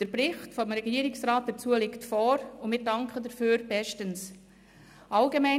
Der Bericht des Regierungsrats hierzu liegt vor, und wir danken bestens dafür.